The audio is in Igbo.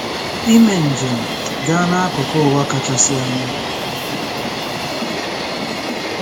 Ime njem gaa n'akụkụ ụwa kachasị anya